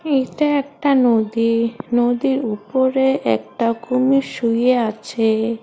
এইটা একটা নদী নদীর উপরে একটা কুমির শুয়ে আছে।